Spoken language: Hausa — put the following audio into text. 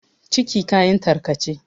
ciki kayan tarkace